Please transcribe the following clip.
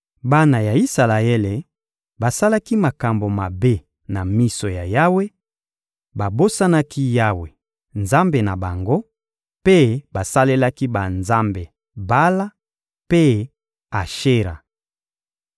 Bana ya Isalaele basalaki makambo mabe na miso ya Yawe; babosanaki Yawe, Nzambe na bango, mpe basalelaki banzambe Bala mpe Ashera.